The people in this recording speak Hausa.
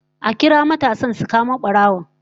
A kira matasan su kamo barawon